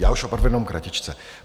Já už opravdu jenom kratičce.